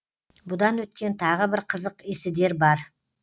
бұдан өткен тағы бір қызық есідер бар